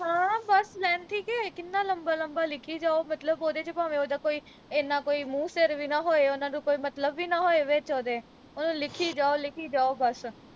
ਬਸ length ਈ ਕਿ ਕਿੰਨਾ ਲੰਮਾ ਲੰਮਾ ਲਿਖੀ ਜਾਓ ਮਤਲਬ ਓਹਦੇ ਵਿਚ ਭਾਵੇ ਉਹਦਾ ਕੋਈ ਏਨਾਂ ਕੋਈ ਮੂੰਹ ਸਿਰ ਵੀ ਨਾ ਹੋਏ ਉਨ੍ਹਾਂ ਨੂੰ ਕੋਈ ਮਤਲਬ ਵੀ ਨਾ ਹੋਏ ਵਿਚ ਓਹਦੇ ਉਹਨੂੰ ਲਿਖੀ ਜਾਓ ਲਿਖੀ ਜਾਓ ਬਸ